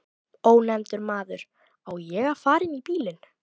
Ónefndur maður: Á ég að fara inn í bílinn?